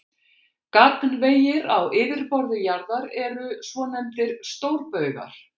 Gagnvegir á yfirborði jarðar eru svonefndir stórbaugar.